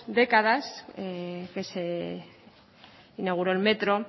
décadas que se inauguró el metro